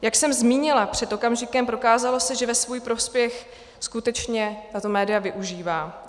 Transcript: Jak jsem zmínila před okamžikem, prokázalo se, že ve svůj prospěch skutečně tato média využívá.